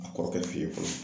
A kɔrɔkɛ fɛ yen fɔlɔ.